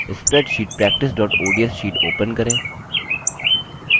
spreadsheet practice ods sheet open करें